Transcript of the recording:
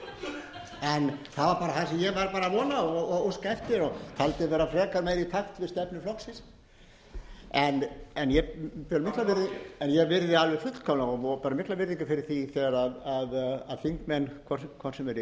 en það var bara það sem ég var að vona og óska eftir og taldi vera frekar meira í takt við stefnu flokksins en ég virði alveg fullkomlega og ber mikla virðingu fyrir því þegar þingmenn hvort sem þeir eru